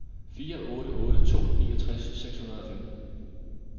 fire otte otte to niogtres seks hundrede og femten